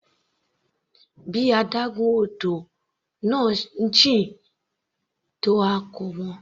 Bí adágún odò náà se jìn tó a kò mọ̀.